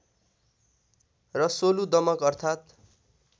र सोलु दमकु अर्थात्